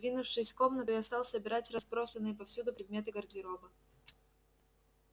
двинувшись в комнату я стал собирать разбросанные повсюду предметы гардероба